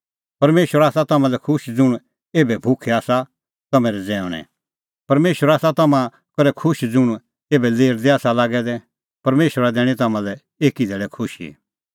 परमेशर आसा तम्हां लै खुश ज़ुंण एभै भुखै आसा तम्हैं रज़ैऊंणै परमेशर आसा तम्हां करै खुश ज़ुंण एभै लेरदै आसा लागै दै परमेशरा दैणीं तम्हां लै एकी धैल़ै खुशी